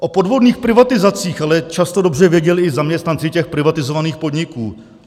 O podvodných privatizacích ale často dobře věděli i zaměstnanci těch privatizovaných podniků.